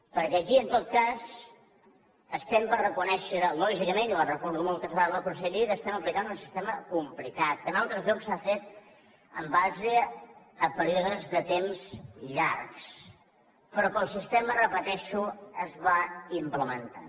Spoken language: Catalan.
perquè aquí en tot cas estem per reconèixer lògicament i ho ha reconegut moltes vegades la conselleria que estem aplicant un sistema complicat que en altres llocs s’ha fet en base a períodes de temps llargs però que el sistema ho repeteixo es va implementant